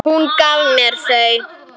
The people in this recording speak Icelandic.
Hún gaf mér þau.